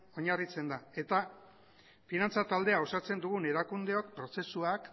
oinarritzen da eta finantza taldea osatzen dugun erakundeok prozesuak